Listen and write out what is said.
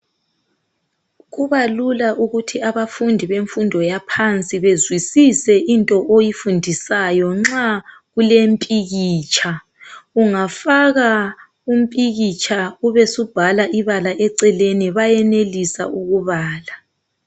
Kubalula ukuthi abafundi bemfundo ephansi bezwisise into oyifundisayo uma kulempikitsha. Ungafaka impikitsha, ube usubhala ibaka eceleni. Bayenelisa ukubala.